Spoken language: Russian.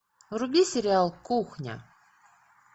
вруби сериал кухня